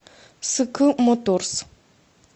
ск моторс